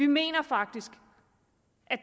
mener faktisk